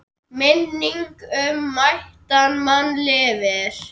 Minning um mætan mann lifir.